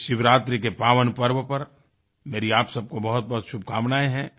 इस शिवरात्रि के पावन पर्व पर मेरी आप सब को बहुतबहुत शुभकामनाएँ हैं